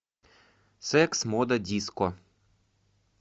секс мода диско